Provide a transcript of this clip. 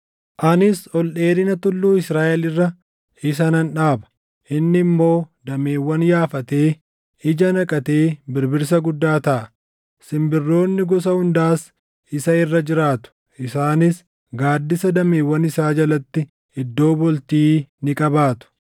Anis ol dheerina tulluu Israaʼel irra isa nan dhaaba; inni immoo dameewwan yaafatee, ija naqatee birbirsa guddaa taʼa. Simbirroonni gosa hundaas isa irra jiraatu; isaanis gaaddisa dameewwan isaa jalatti iddoo bultii ni qabaatu.